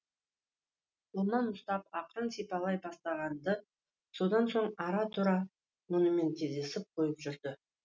қолынан ұстап ақырын сипалай бастаған ды содан соң ара тұра онымен кездесіп қойып жүрді